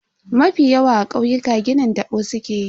Mafi yawa a kauyuka ginin tabo sukeyi.